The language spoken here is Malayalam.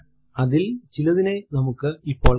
അതിൽ ചിലതിനെ നമുക്ക് ഇപ്പോൾ കാണാം